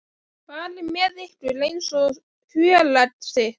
fari með ykkur eins og fjöregg sitt.